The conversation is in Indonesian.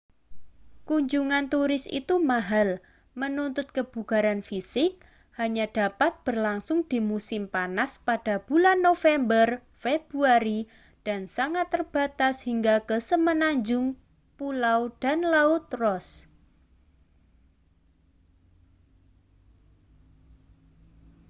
kunjungan turis itu mahal menuntut kebugaran fisik hanya dapat berlangsung di musim panas pada bulan november-februari dan sangat terbatas hingga ke semenanjung pulau dan laut ross